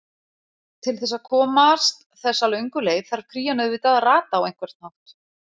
Til þess að komast þessu löngu leið þarf krían auðvitað að rata á einhvern hátt.